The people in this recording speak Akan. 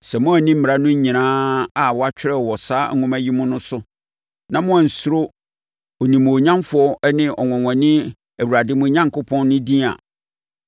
Sɛ moanni mmara no nyinaa a wɔatwerɛ wɔ saa nwoma yi mu no so na moansuro onimuonyamfoɔ ne ɔnwanwani Awurade mo Onyankopɔn no din a,